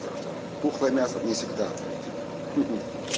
то что тухлое мясо не всегда отвратительно хи-хи